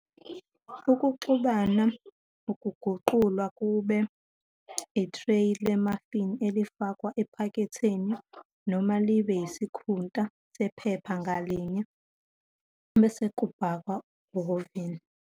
Ukuxubana kuguqulwa kube ithreyi le-muffin elifakwa ephaketheni, noma libe isikhunta sephepha ngalinye, bese kubhakwa kuhhavini.